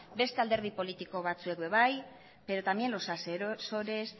beste alderdi politiko batzuek ere bai pero también los asesores